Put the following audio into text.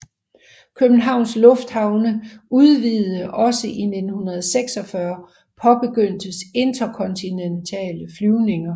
Københavns Lufthavne udvidede også og i 1946 påbegyndtes interkontinentale flyvninger